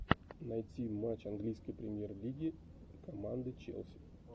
найти матч английской премьер лиги команды челси